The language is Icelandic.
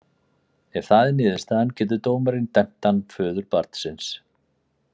Ef það er niðurstaðan getur dómarinn dæmt hann föður barnsins.